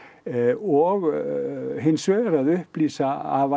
og hins vegar að upplýsa